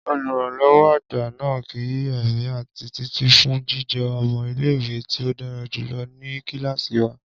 Oluranlọwọ agba naa ki emi ati Titi fun jijẹ ọmọ ile-iwe ti o dara julọ ni kilasi wa.